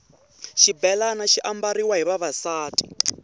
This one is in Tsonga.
xibhelani xi ambariwa hi vavasati